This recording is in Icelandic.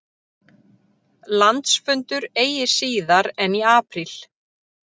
Landsfundur eigi síðar en í apríl